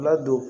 Ladon